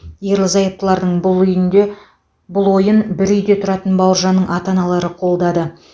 ерлі зайыптылардың бұл үйінде бұл ойын бір үйде тұратын бауыржанның ата аналары қолдады